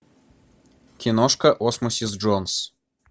киношка осмосис джонс